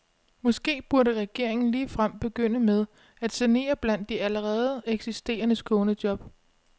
Måske burde regeringen ligefrem begynde med at sanere blandt de allerede eksisterende skånejob.